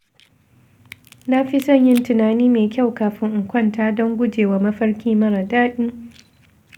Na fi son yin tunani mai kyau kafin in kwanta don gujewa mafarki mara daɗi.